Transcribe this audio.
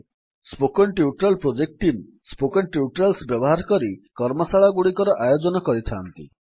spoken tutorial project team spoken tutorials ବ୍ୟବହାର କରି କର୍ମଶାଳାଗୁଡ଼ିକର ଆୟୋଜନ କରିଥାନ୍ତି